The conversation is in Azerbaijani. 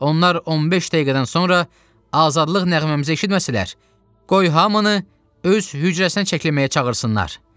Onlar 15 dəqiqədən sonra azadlıq nəğməmizə eşitməsələr, qoy hamını öz hücrəsinə çəkilməyə çağırsınlar.